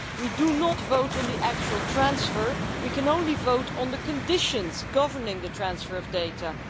We are not voting on the actual transfer, we can only vote on the conditions governing the transfer of data.